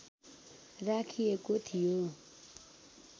राखिएको थियो